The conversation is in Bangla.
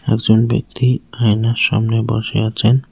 একজন ব্যক্তি আয়নার সামনে বসে আছেন।